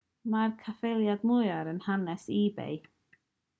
dyma'r caffaeliad mwyaf yn hanes ebay